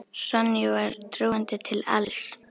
Sonju var trúandi til alls.